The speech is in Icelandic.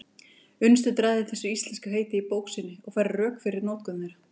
Unnsteinn ræðir þessi íslensku heiti í bók sinni og færir rök fyrir notkun þeirra.